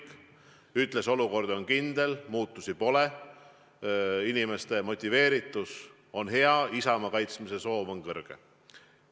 Ta ütles, et olukord on kindel, muutusi pole, inimeste motiveeritus on hea, isamaa kaitsmise soov on kõrge.